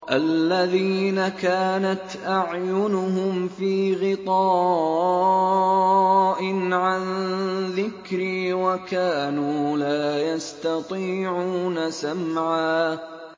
الَّذِينَ كَانَتْ أَعْيُنُهُمْ فِي غِطَاءٍ عَن ذِكْرِي وَكَانُوا لَا يَسْتَطِيعُونَ سَمْعًا